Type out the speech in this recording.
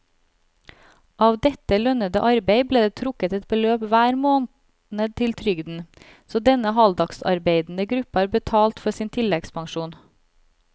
Av dette lønnede arbeid ble det trukket et beløp hver måned til trygden, så denne halvdagsarbeidende gruppe har betalt for sin tilleggspensjon.